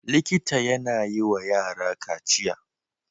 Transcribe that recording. Likita yAna yi wa yara kaciya